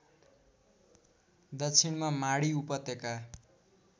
दक्षिणमा माडी उपत्यका